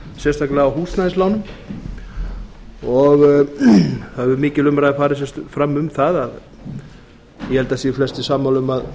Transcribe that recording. á húsnæðislánum það hefur mikil umræða farið fram um það og ég held að það séu flestir sammála um að